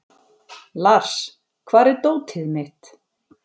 Lars, hvar er dótið mitt?